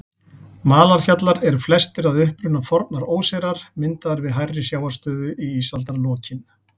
Malarhjallar eru flestir að uppruna fornar óseyrar, myndaðir við hærri sjávarstöðu í ísaldarlokin.